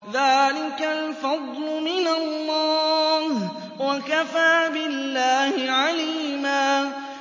ذَٰلِكَ الْفَضْلُ مِنَ اللَّهِ ۚ وَكَفَىٰ بِاللَّهِ عَلِيمًا